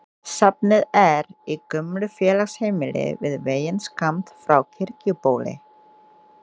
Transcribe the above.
Safnið er í gömlu félagsheimili við veginn skammt frá Kirkjubóli.